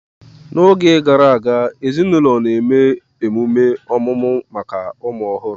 N'oge gara aga, ezinaụlọ na-eme emume ọmụmụ maka ụmụ ọhụrụ